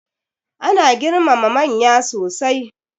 Ana girmama manya sosai.